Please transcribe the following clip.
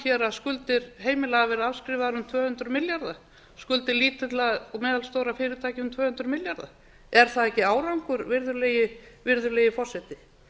að skuldir heimila hafi verið afskrifaðar um tvö hundruð milljarða skuldir lítilla og meðalstórra fyrirtækja um tvö hundruð milljarða er það ekki árangur virðulegi forseti